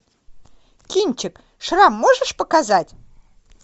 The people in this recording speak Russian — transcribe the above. кинчик шрам можешь показать